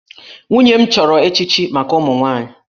Nwunye m chọrọ echichi maka ụmụ nwaanyị